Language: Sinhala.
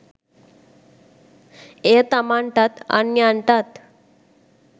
එය තමන්ටත්, අන්‍යයන්ටත්